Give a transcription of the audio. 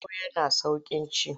Tuwo yana sauƙin ci.